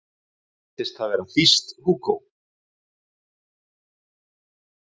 Reyndist það vera þýskt, Hugo